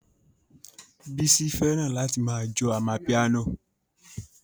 Bísí fẹ́ràn láti ma jó amapiano